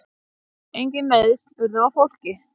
Engin meiðsl urðu á fólki.